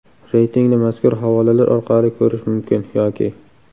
Reytingni mazkur havolalar orqali ko‘rish mumkin yoki .